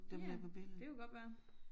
Ja det kunne godt være